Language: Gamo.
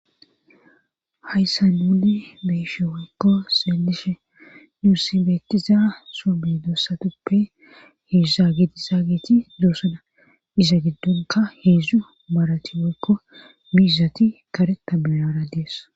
Hayssa nuli beeshe wokko seelishe duussibettiza soomme doossatuppe heedza gidiza geeti duosuna iza giddonka heedzdzu marati wekko miizati kare ta benara dees.